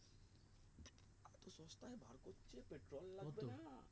তো সস্তায় বার করছে petrol লাগছে না